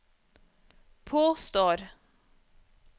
påstår